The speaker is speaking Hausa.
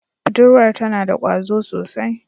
Budurwar tana da kwazo sosai.